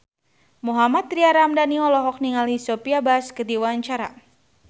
Mohammad Tria Ramadhani olohok ningali Sophia Bush keur diwawancara